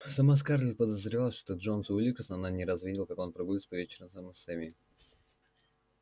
сама скарлетт подозревала что джонас уилкерсон она не раз видела как он прогуливался по вечерам с эмми